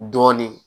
Dɔɔnin